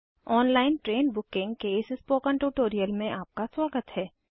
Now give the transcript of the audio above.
online train booking के इस spoken tutorial में आपका स्वागत है